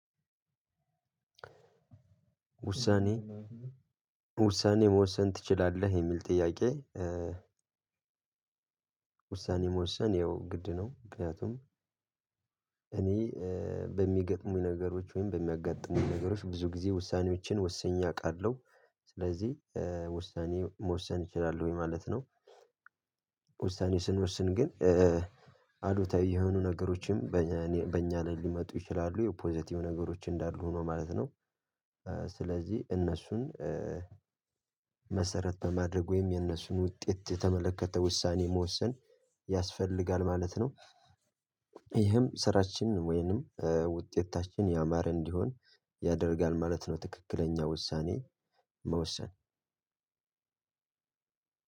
ውሳኔ ውሳኔ መወሰን ትችላለህ የሚል ጥያቄ? ውሳኔ መወሰን ግድ ነው። ምክንያቱም እኔ በሚገጥሙኝ ነገሮች ወይም በሚያጋጥሙኝ ነገሮች ብዙ ጊዜ ውሳኔዎችን ወስኜ አውቃለሁ። ስለዚህ ውሳኔ መወሰን እችላለሁ ወይ ማለት ነው። ውሳኔ ስንወስን ግን አዶታዊ የሆኑ ነገሮችም በእኛ ላይ ሊመጡ ይችላሉ የፖዘቲቭ ነገሮች እንዳሉ ሆኖ ማለት ነው። ስለዚህ እነሱን መሰረት በማድረግ ወይም የነሱን ውጤት የተመለከተ ውሳኔ መወሰን ያስፈልጋል ማለት ነው። ይህም ስራችን ወይንም ውጤታችን ያማረ እንዲሆን ያደርጋል ማለት ነው። ትክክለኛ ውሳኔ